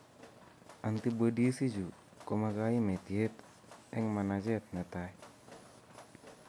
Antibodies ichu komakaimetyet eng' manacheet netai